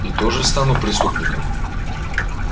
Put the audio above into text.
и тоже стану преступником